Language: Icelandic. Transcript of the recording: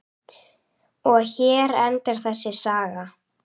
Og hér endar þessi saga.